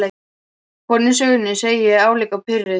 Konan í sögunni, segi ég álíka pirruð.